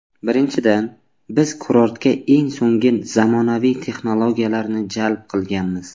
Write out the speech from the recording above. Birinchidan, Biz kurortga eng so‘ngi zamonaviy texnologiyalarni jalb qilganmiz.